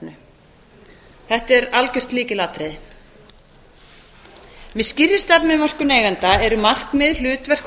þetta er algjört lykilatriði með skýrri stefnumörkun eigenda eru markmið hlutverk og